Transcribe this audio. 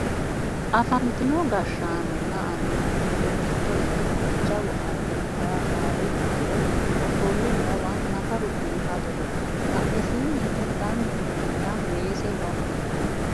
afantino gashshaanonna annuwu giddo mitto ikkinohu jawu anni nafara gaawe uddire ofolle noowa nafaru biifadoho badhesiinni hige danchu mininna weese no